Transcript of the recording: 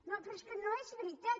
no però és que no és veritat